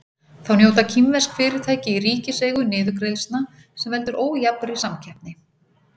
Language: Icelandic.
Þá njóta kínversk fyrirtæki í ríkiseigu niðurgreiðslna sem veldur ójafnri samkeppni.